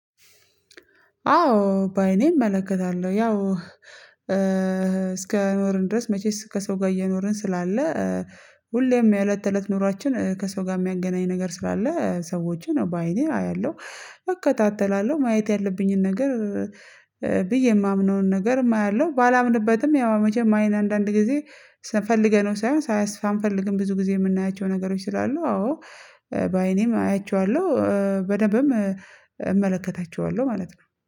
አዎ በአይኔ እመለከታለሁ ያው እስከኖረን ድረስ መቼስ ከሰው ጋር እየኖርን ስላለ ሁሌም የእለት ተእለት ኑሯችን ከሰው ጋር የሚያገናኝ ነገር ስላለ ሰዎችን ነው አይደለም አያለሁ። እከታተላለሁ ማየት ያለብኝን ነገር። ብዬ የማምነውን ነገርም አያለው ባላምንበትም ያው መቼም አይን አንዳንድ ጊዜ ስንፈልገነው ሳይሆን ሳያስፈ ሳንፈልግም ብዙ ጊዜ የምናያቸው ነገሮች ስላሉ አዎ በአይኔም አያቸዋለሁ በደንብም እመለከታቸዋለሁ ማለት ነው